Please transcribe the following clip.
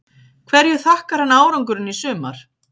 Hverju þakkar hann árangurinn í sumar?